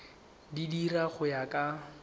di dira go ya ka